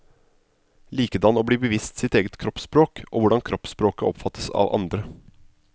Likedan å bli bevisst sitt eget kroppsspråk og hvordan kroppsspråket oppfattes av andre.